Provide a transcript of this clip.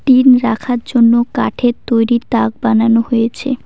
Tin রাখার জন্য কাঠের তৈরি তাক বানানো হয়েছে।